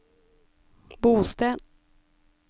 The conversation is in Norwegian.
bosted